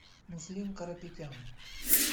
муслим карапетян